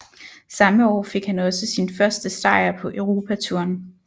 Samme år fik han også sin første sejr på europatouren